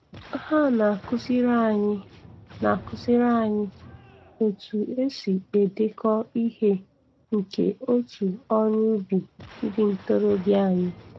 Ha na-akụziri anyị na-akụziri anyị otu e si edekọ ihe nke otu ọrụ ubi ndị ntorobịa anyị.